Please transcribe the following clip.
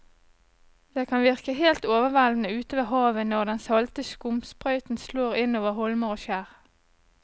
Det kan virke helt overveldende ute ved havet når den salte skumsprøyten slår innover holmer og skjær.